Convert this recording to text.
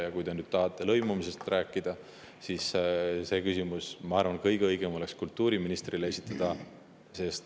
Aga kui te nüüd tahate lõimumisest rääkida, siis see küsimus, ma arvan, oleks kõige õigem kultuuriministrile esitada.